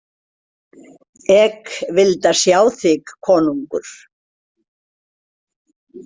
Ek vilda sjá þik konungr.